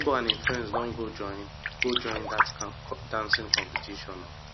my nebor and him friends don go join go join dat dancing competition o